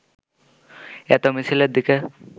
এত মিছিলের দিকে